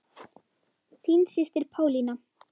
Þín systir Pálína.